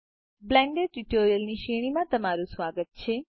Blender tutorials ની શ્રેણીમાં તમારું સ્વાગત છે